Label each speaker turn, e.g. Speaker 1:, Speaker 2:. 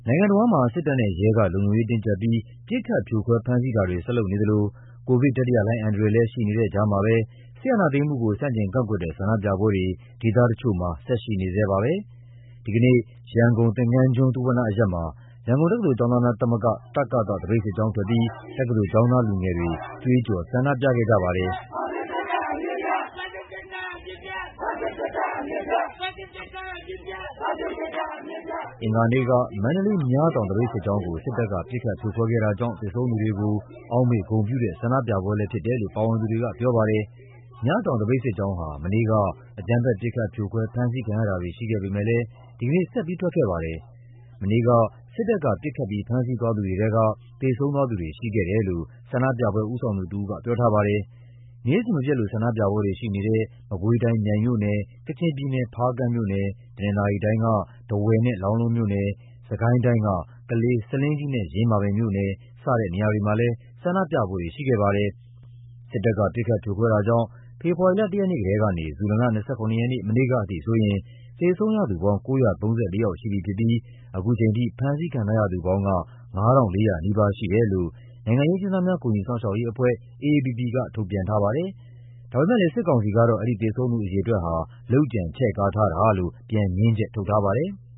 Speaker 1: ိုင်ငံတဝန်းမှာ စစ်တပ်နဲ့ရဲက လုံခြုံရေးတင်းကျပ်ပြီး ပစ်ခတ် ဖြိုခွဲ ဖမ်းဆီးတာတွေ ဆက်လုပ်နေသလို ကိုဗစ်တတိယလှိုင်းအန္တရာယ်လည်း ရှိနေတဲ့ကြားမှာပဲ စစ်အာဏာသိမ်းမှုကို ဆန့်ကျင်ကန့်ကွက်တဲ့ ဆန္ဒပြပွဲတွေ ဒေသတချို့မှာ ဆက်ရှိနေဆဲပါပဲ။ ဒီကနေ့ ရန်ကုန်၊ သင်္ဃန်းကျွန်း၊ သုဝဏ္ဏအရပ်မှာ ရန်ကုန်တက္ကသိုလ်ကျောင်းသားများသမဂ္ဂ တကသ သပိတ်စစ်ကြောင်းထွက်ပြီး တက္ကသိုလ်ကျောင်းသားလူငယ်တွေ ကြွေးကျော် ဆန္ဒပြခဲ့ကြပါတယ်
Speaker 2: ။ အင်္ဂ
Speaker 1: ါနေ့က မန္တလေး၊ မြတောင်သပိတ်စစ်ကြောင်းကို စစ်တပ်က ပစ်ခတ်ဖြိုခွဲခဲ့တာကြောင့် သေဆုံးသူတွေကို အောက်မေ့ဂုဏ်ပြုတဲ့ ဆန္ဒပြပွဲလည်းဖြစ်တယ်လို့ ပါဝင်သူတွေကပြောပါတယ်။မြတောင်သပိတ်စစ်ကြောင်းဟာ မနေ့က အကြမ်းဖက် ပစ်ခတ် ဖြိုခွဲ ဖမ်းဆီးခံရတာတွေ ရှိခဲ့ပေမယ့်လည်း ဒီကနေ့ဆက်ပြီး ထွက်ခဲ့ပါတယ်။ မနေ့က စစ်တပ်က ပစ်ခတ်ပြီး ဖမ်းဆီးသွားသူတွေထဲက သေဆုံးသူတွေ ရှိခဲ့တယ်လို့ ဆန္ဒပြပွဲဦးဆောင်သူတဦးက ပြောထားပါတယ်။ နေ့စဉ်မပျက်လို ဆန္ဒပြပွဲတွေရှိနေတဲ့ မကွေးတိုင်း၊ မြိုင်မြို့နယ်၊ ကချင်ပြည်နယ်၊ ဖားကန့်မြို့နယ်၊ တနင်္သာရီတိုင်းက ထားဝယ်နဲ့ လောင်းလုံးမြို့နယ်၊ စစ်ကိုင်းတိုင်းက ကလေး၊ ဆားလင်းကြီးနဲ့ ယင်းမာပင်မြို့နယ် စတဲ့နေရာတွေမှာလည်း ဆန္ဒပြပွဲတွေရှိခဲ့ပါတယ်။ စစ်တပ်က ပစ်ခတ် ဖြိုခွဲတာကြောင့် ဖေဖော်ဝါရီလ ၁ ရက်နေ့ကတည်းကနေ ဇူလိုင်လ ၂၇ ရက်နေ မနေ့ကအထိဆိုရင် သေဆုံးရသူပေါင်း ၉၃၄ ယောက်ရှိပြီဖြစ်ပြီး ခုချိန်ထိ ဖမ်းဆီးခံထားရသူပေါင်းက ၅၄၀၀ နီးပါးရှိတယ်လို့ နိုင်ငံရေးအကျဉ်းသားများ ကူညီစောင့်ရှောက်ရေးအဖွဲ့ AAPP က ထုတ်ပြန်ထားပါတယ်။ ဒါပေမယ့်လည်း စစ်ကောင်စီကတော့ အဲဒီသေဆုံးသူအရေအတွက်ဟာ လုပ်ကြံ ချဲ့ကားထားတာလို့ ပြန်ငြင်းချက်ထုတ်ထားပါတယ်။